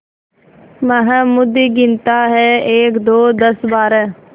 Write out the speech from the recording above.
महमूद गिनता है एकदो दसबारह